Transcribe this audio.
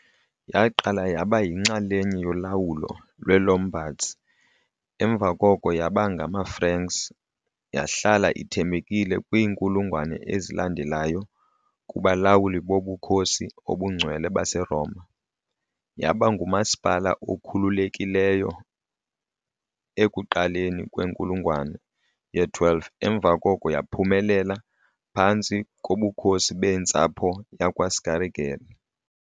Yaqala yaba yinxalenye yolawulo lweeLombards emva koko yaba ngamaFranks, yahlala ithembekile kwiinkulungwane ezalandelayo kubalawuli boBukhosi obuNgcwele baseRoma. Yaba ngumasipala okhululekileyo ekuqaleni kwenkulungwane ye-12 emva koko yaphumelela phantsi koBukhosi bentsapho yakwaScaligeri .